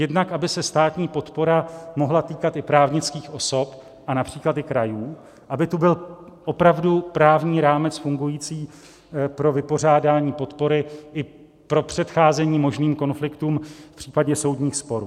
Jednak aby se státní podpora mohla týkat i právnických osob a například i krajů, aby tu byl opravdu právní rámec fungující pro vypořádání podpory i pro předcházení možným konfliktům v případě soudních sporů.